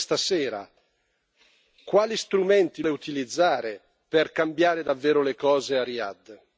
E quindi vorrei capire da Lei, questa sera, quali strumenti l'Unione europea vuole utilizzare per cambiare davvero le cose a Riyadh.